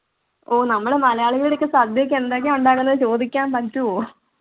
ഓ നമ്മള് മലയാളികളുടെ അടുത്ത് സദ്യക്ക് എന്തൊക്കെയാ ഉണ്ടാക്കുന്നെ ന്ന് ചോദിക്കാൻ പറ്റുമോ